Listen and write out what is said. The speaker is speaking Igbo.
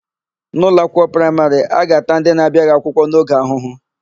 N'ụlọakwụkwọ praịmarị, a ga-ata ndị na-abiaghị akwụkwọ n'oge ahụhụ.